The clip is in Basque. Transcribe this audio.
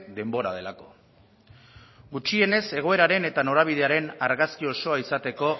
denbora delako gutxienez egoeraren eta norabidearen argazkia osoa izateko